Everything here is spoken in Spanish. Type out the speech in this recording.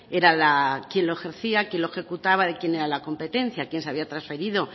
era quién lo ejercía quién lo ejecutaba y de quién era la competencia a quién se había transferido